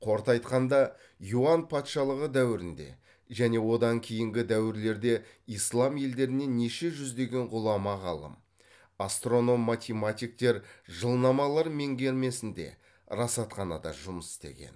қорыта айтқанда юан патшалығы дәуірінде және одан кейінгі дәуірлерде ислам елдерінен неше жүздеген ғұлама ғалым астроном математиктер жылнамалар меңгермесінде расатханада жұмыс істеген